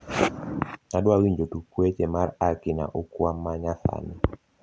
adwawinjo tuk weche mar aki na ukwa ma nyasani